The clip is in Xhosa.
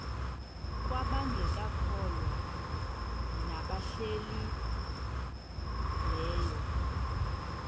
kwabangekakholwa nabahlehli leyo